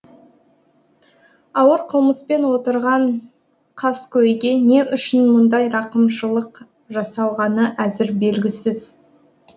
ауыр қылмыспен отырған қаскөйге не үшін мұндай рақымшылық жасалғаны әзір белгісіз